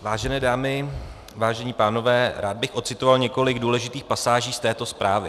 Vážené dámy, vážení pánové, rád bych odcitoval několik důležitých pasáží z této zprávy.